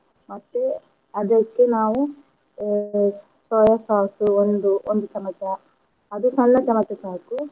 ಮತ್ತೆ ಅದಕ್ಕೆ ನಾವು ಅಹ್ soya sauce ಒಂದು ಒಂದು ಚಮಚ ಅದು ಸಣ್ಣ ಚಮಚ ಸಾಕು.